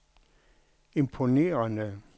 imponerende